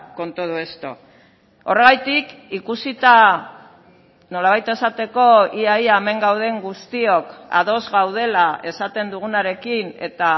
con todo esto horregatik ikusita nolabait esateko ia ia hemen gauden guztiok ados gaudela esaten dugunarekin eta